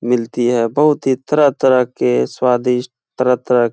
मिलती है। बोहोत ही तरह-तरह के स्वादिष्ट तरह-तरह --